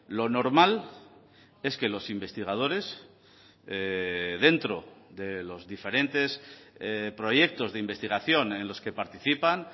lo normal es que los investigadores dentro de los diferentes proyectos de investigación en los que participan